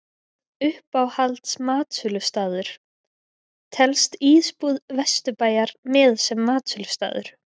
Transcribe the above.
Uppáhalds matsölustaður: Telst Ísbúð Vesturbæjar með sem matsölustaður?